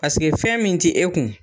Paseke fɛn min tɛ e kun.